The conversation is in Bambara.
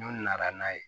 N'u nana n'a ye